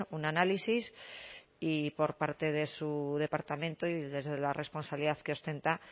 un análisis y por parte de su departamento y desde la responsabilidad que ostenta